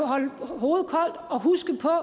holde hovedet koldt og huske på at